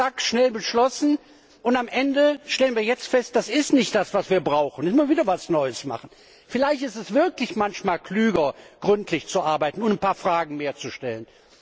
Zack zack, schnell beschlossen, und am Ende stellen wir nun fest, das ist nicht das, was wir brauchen. Da müssen wir also wieder etwas Neues machen. Vielleicht ist es wirklich manchmal klüger, gründlich zu arbeiten und ein paar Fragen mehr zu stellen.